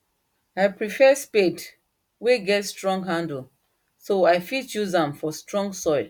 i prefare spade wen get strong handle so i fit use am for strong soil